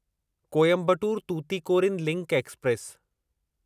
Coimbatore Tuticorin link express